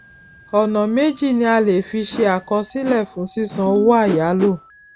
ọnà méjì ni a le fi ṣe àkọsílẹ fún sísan owó àyálò